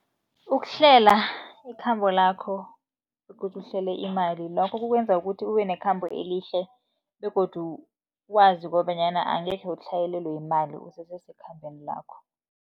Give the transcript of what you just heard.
Ukuhlela ikhambo lakho begodu uhlele imali, lokho kukwenza ukuthi ube nekhambo elihle begodu wazi kobanyana angekhe utlhayelelwe yimali, usese sekhambeni lakho.